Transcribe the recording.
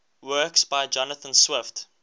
works by jonathan swift